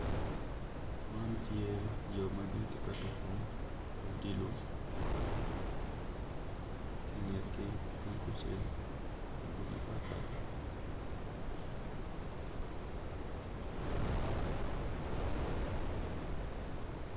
Man tye jo ma gin gitye pye tuku odilo ki ingetgi tungucel i gurup mapatpat